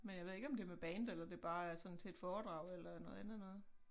Men jeg ved ikke om det med band eller det bare er sådan til et foredrag eller noget andet noget